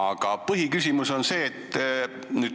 Aga põhiküsimus on selline.